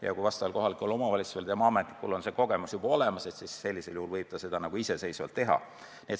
Ja kui kohaliku omavalitsuse ametnikul on teatud kogemus juba olemas, siis edaspidi võib ta seda tööd iseseisvalt teha.